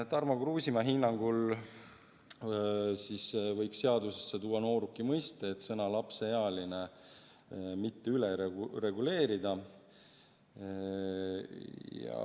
Tarmo Kruusimäe hinnangul võiks siis seadusesse tuua "nooruki" mõiste ja sõna "lapseealine" mitte üle reguleerida.